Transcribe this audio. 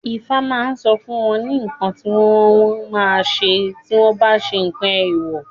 Ifá ma sọ fún wọn ní nǹkan tí wọ́n ma ṣe tí wọ́n bá ṣe nǹkan èwọ̀